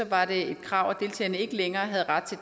var det et krav at deltagerne ikke længere havde ret